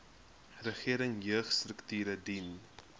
regering jeugstrukture dien